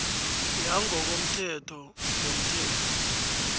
yangokomthetho yomthelo